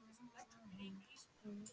líkamsbyggingu.